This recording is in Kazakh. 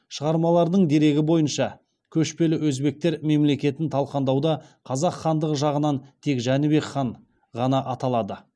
шығармаларының дерегі бойынша көшпелі өзбектер мемлекетін талқандауда қазақ хандығы жағынан тек жәнібек хан ғана аталады